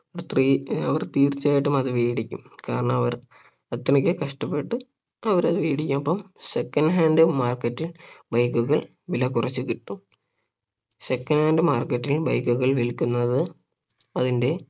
three അവർ തീർച്ചയായിട്ടും അത് വേടിക്കും കാരണം അവർ അത്രക്ക്‌ കഷ്ടപ്പെട്ട് അവരതു വേടിക്കും അപ്പം second hand market ൽ bike കൾ വില കുറച്ചു കിട്ടും second hand market ൽ bike ഒക്കെ വിൽക്കുന്നത് അതിന്റെ